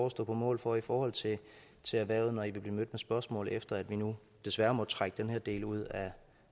at stå på mål for i forhold til til erhvervet når i vil blive mødt med spørgsmål efter at vi nu desværre må trække den her del ud af